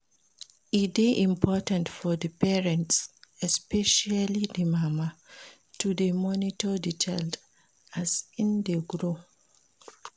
E de important for parents especially di mama to de monitor di child as in dey grow